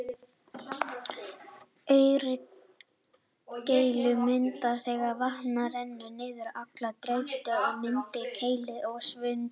Aurkeilur myndast þegar vatn rennur niður halla, dreifist og myndar keilulaga svuntu.